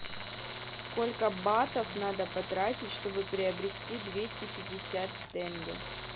сколько батов надо потратить чтобы приобрести двести пятьдесят тенге